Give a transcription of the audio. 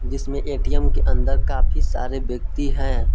जिसमें ए_टी_एम के अंदर काफी सारे व्यक्ति हैं।